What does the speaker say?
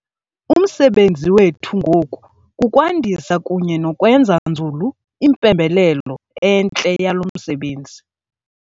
Umsebenzi wethu ngoku kukwandisa kunye nokwenza nzulu impembelelo entle yalo msebenzi.